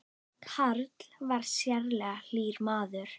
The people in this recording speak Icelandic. Karl var sérlega hlýr maður.